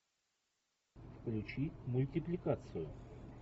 включи мультипликацию